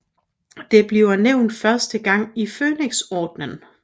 Det bliver nævnt første gang i Fønixordenen